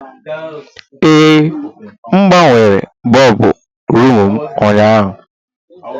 Ee, M gbanwere bọlbụ rumụ m ụnyaahụ.